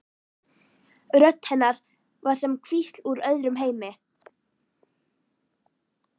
Rödd hennar var sem hvísl úr öðrum heimi.